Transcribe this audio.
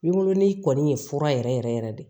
Binkurunin kɔni ye fura yɛrɛ yɛrɛ de